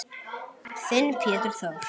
Þinn Pétur Þór.